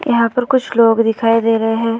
यहाँ पर कुछ लोग दिखाई दे रहे हैं।